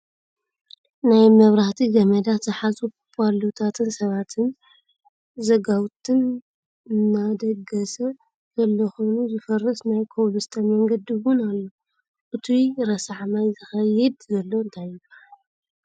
ናይ መብራህቲ ገመዳት ዝሓዙ ቦሎታትን ሰባትን ዘጋውትን ኣንደገ ደሰ ዘሎ ኮይኑዝፈረሰ ናይ ኮብልስቶን መንገዲ እውን ኣሎ። እቱይ ረሳሕ ማይ ዝከይድ ዘሎ እንታይ ይብሃል?